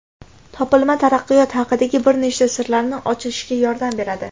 Topilma taraqqiyot haqidagi bir nechta sirlarni ochishga yordam beradi.